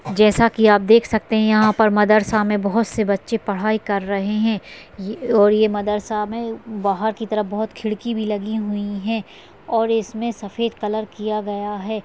जैसा की आप देख सकते है यहा पर मदरसा मे बहुत से बच्चे पढ़ाई कर रहे है अह और ये मदरसा मे बाहर की तरफ बहुत खिड़की की भी लगी हुई है और इसमे सफ़ेद कलर किया गया है।